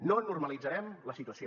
no normalitzarem la situació